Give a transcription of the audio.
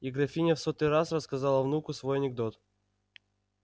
и графиня в сотый раз рассказала внуку свой анекдот